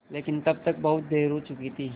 लेकिन तब तक बहुत देर हो चुकी थी